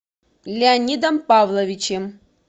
леонидом павловичем